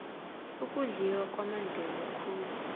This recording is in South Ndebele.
ukudliwa kwamadlelo khulu